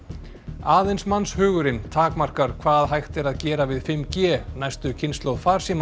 aðeins mannshugurinn takmarkar hvað hægt er að gera við fimm g næstu kynslóð